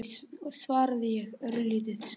svaraði ég, örlítið stygg.